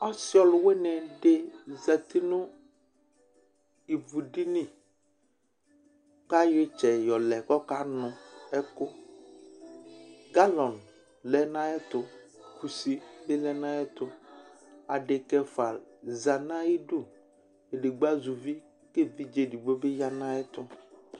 Ɔsɩ ɔlʋwɩnɩ dɩ zati nʋ ivudini kʋ ayɔ ɩtsɛ yɔlɛ kʋ ɔkanʋ ɛkʋ Galɔ lɛ nʋ ayɛtʋ, kusi bɩ lɛ nʋ ayɛtʋ Adekǝ ɛfʋa za nʋ ayidu, edigbo azɛ uvi kʋ evidze edigbo dɩ bɩ ya nʋ ayɛtʋ